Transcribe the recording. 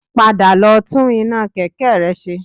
Padà lọ tún iná kẹ̀kẹ́ rẹ ṣe